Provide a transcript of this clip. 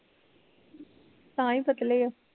ਤਾਂਈ ਪਤਲੇ ਓ